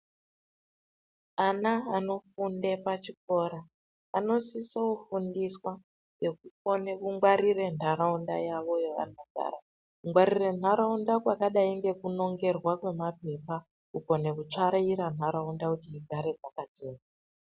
Ana anofunde pachikora anosiso fundiswa nekukone kungwarira nharaunda yavo yavanogara kungwarira nharaunda kwakadai ngekunongerwa kwemaphepha kukona kutsvaira nharaunda kuti igare yakachena.